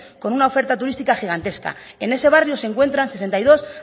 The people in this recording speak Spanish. con una oferta turística gigantesca en ese barrio se encuentran sesenta y dos